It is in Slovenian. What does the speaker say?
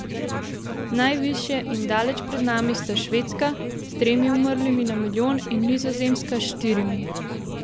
Najvišje in daleč pred nami sta Švedska s tremi umrlimi na milijon in Nizozemska s štirimi.